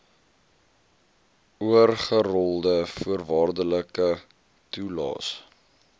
oorgerolde voorwaardelike toelaes